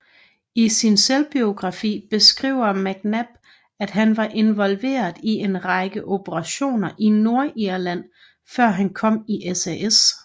I sin selvbiografi beskriver McNab at han var involveret i en række operationer i Nordirland før han kom i SAS